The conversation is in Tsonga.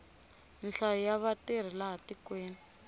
nhlayo ya vatirhi laha tikweni